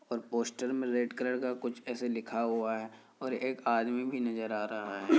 और पोस्टर में red colour का कुछ ऐसे लिखा हुआ है और एक आदमी भी नजर आ रहा है।